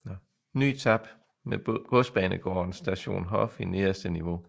NyTap med godsbanegården Station Hof i nederste niveau